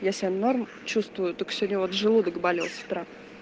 я себя норм чувствую только сегодня вот желудок болел с утра